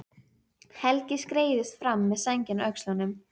Helgi skreiðist fram með sængina á öxlunum.